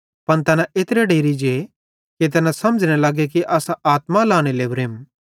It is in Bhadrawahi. पन तैना एत्रे डेरि जे कि तैना समझ़ने लगे कि असां आत्मा लहने लोरेम